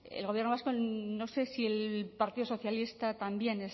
el gobierno vasco no sé si el partido socialista también